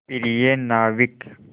प्रिय नाविक